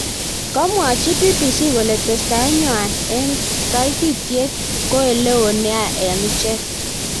Kamuachi BBC kole testaet nenywa eng keititiet ko oleloo nea eng ichek.